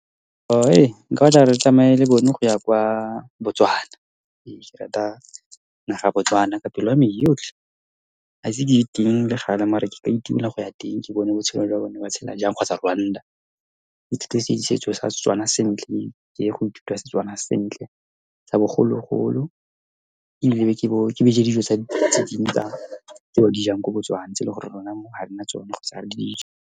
nka gore ke tsamaye le bone go ya kwa Botswana. Ee, ke rata naga ya Botswana ka pelo yame yotlhe. Ha ise ke legale, mare nka itumela go ya teng, ke bone botshelo jwa bone, ba tshela jang, kgotsa Rwanda, ke ithute setso sa Setswana sentle mme ke ye go ithuta Setswana sentle tsa bogologolo. Ebile ke be ke ja dijo tsa di , tse ba dijang ko Botswana, tse e leng gore rona mo ha rena tsone kgotsa ha re dije.